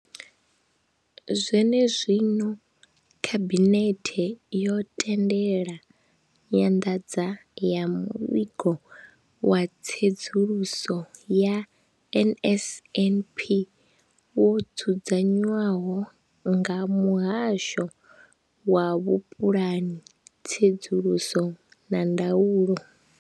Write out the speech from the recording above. Zwene zwino, Khabinethe yo tendela nyanḓadzo ya Muvhigo wa Tsedzuluso ya NSNP wo dzudzanywaho nga Muhasho wa Vhupulani, Tsedzuluso na Ndaulo.